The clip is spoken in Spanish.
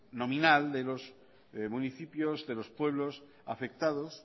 nominal de los municipios de los pueblos afectados